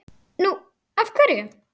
Nú. af hverju?